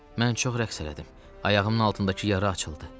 Mən çox rəqs elədim, ayağımın altındakı yara açıldı.